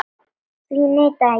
Því neitaði Jón.